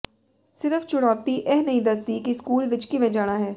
ਸਿਰਫ ਚੁਣੌਤੀ ਇਹ ਨਹੀਂ ਦੱਸਦੀ ਕਿ ਸਕੂਲ ਵਿਚ ਕਿਵੇਂ ਜਾਣਾ ਹੈ